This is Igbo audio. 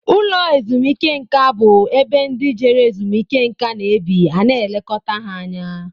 Ụlọ ezumike nká bú ebe ndị Jere ezumike nká na-ebi ana elekota ha anya.